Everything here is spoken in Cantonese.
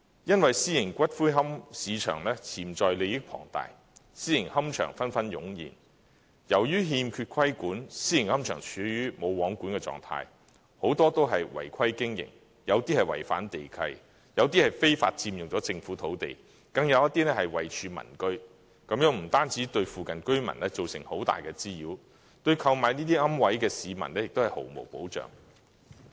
因為私營龕位市場潛在利益龐大，私營龕場紛紛湧現，由於欠缺規管，私營龕場處於"無皇管"的狀態，很多都是違規經營，有些違反地契，有些非法佔用政府土地，更有些是位處民居，這不單對附近居民造成很大的滋擾，對購買這些龕位的市民也是毫無保障。